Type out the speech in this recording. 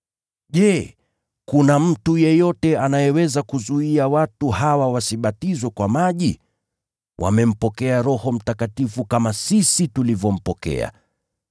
“Je, kuna mtu yeyote anayeweza kuzuia watu hawa wasibatizwe kwa maji? Wamempokea Roho Mtakatifu kama sisi tulivyompokea.”